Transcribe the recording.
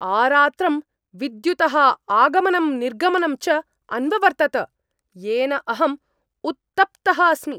आरात्रं विद्युतः आगमनं निर्गमनं च अन्ववर्तत, येन अहम् उत्तप्तः अस्मि।